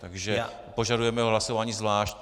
Takže požadujeme hlasování zvlášť.